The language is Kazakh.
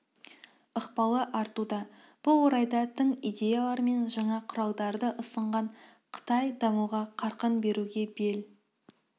ықпалы артуда бұл орайда тың идеялар мен жаңа құралдарды ұсынған қытай дамуға қарқын беруге бел